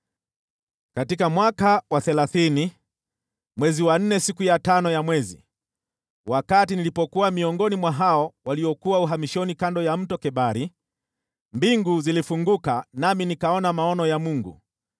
Katika mwaka wa thelathini, mwezi wa nne, siku ya tano ya mwezi, wakati nilipokuwa miongoni mwa hao waliokuwa uhamishoni kando ya Mto Kebari, mbingu zilifunguka nami nikaona maono ya Mungu.